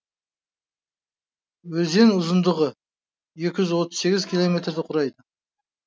өзен ұзындығы екі жүз отыз сегіз километрді құрайды